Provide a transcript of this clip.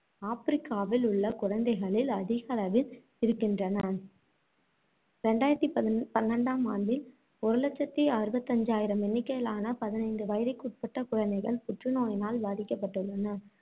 ஆப்பிரிக்காவில் உள்ள குழந்தைகளில் அதிகளவில் இருக்கின்றன. இரண்டாயிரத்தி பதி~ பன்னிரெண்டாம் ஆண்டில், ஒரு லட்சத்தி அறுபத்தி அஞ்சாயிரம் எண்ணிக்கையிலான பதினைந்து வயதுக்குட்பட்ட குழந்தைகள் புற்று நோயினால் பாதிக்கப்பட்டுள்ளனர்.